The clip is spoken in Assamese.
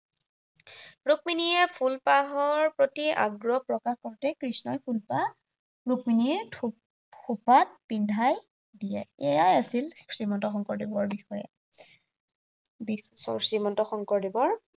ৰুক্মীণীয়ে ফুলপাহৰ প্ৰতি আগ্ৰহ প্ৰকাশ কৰোতেই কৃষ্ণই ফুলপাহ ৰুক্মীণীৰ থোপাত খোপাত পিন্ধাই দিয়ে। এয়াই আছিল শ্ৰীমন্ত শংকৰদেৱৰ বিষয়ে শ্ৰীমন্ত শংকৰদেৱৰ